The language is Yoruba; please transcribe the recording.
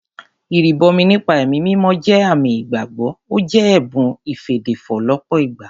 Ìrìbọmi nípa ẹ̀mí mímọ́ jẹ́ àmì ìgbàgbọ́, ó jẹ́ ẹ̀bùn ìfèdèfọ̀ lọ́pọ̀ ìgbà